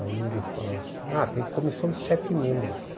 Aí ele falou assim, ah, tem comissão de sete membros.